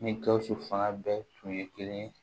Ni gawusu fanga bɛɛ tun ye kelen ye